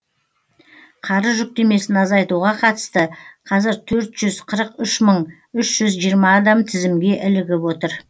қарыз жүктемесін азайтуға қатысты қазір төрт жүз қырық үш мың үш жүз жиырма адам тізімге ілігіп отыр